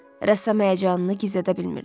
Rəssam həyəcanını gizlədə bilmirdi.